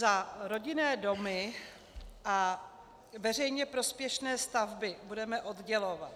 Za rodinné domy a veřejně prospěšné stavby budeme oddělovat.